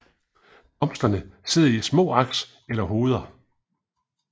Blomsterne sidder i små aks eller hoveder